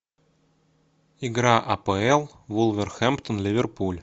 игра апл вулверхэмптон ливерпуль